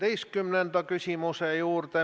Heljo Pikhof, palun, teine, täpsustav küsimus!